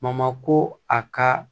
ko a ka